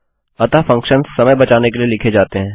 अतः फंक्शन्स समय बचाने के लिए लिखे जाते हैं